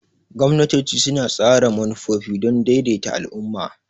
Gwamnatoci suna tsara manufofi don daidaita al'umma.